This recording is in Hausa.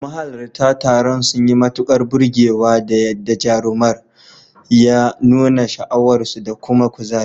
Mahalarta taron sun yi matukar burgewa da yadda jarumar ya nuna sha'awarsu da kuma kuzari.